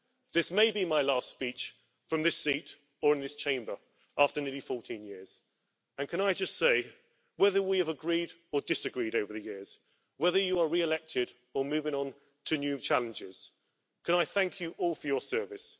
This may be my last speech from this seat or in this Chamber after nearly 14 years and can I just say to my colleagues that whether we have agreed or disagreed over the years, whether you are re elected or moving on to new challenges, can I thank you all for your service.